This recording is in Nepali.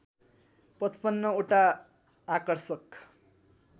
पचपन्न ओटा आकर्षक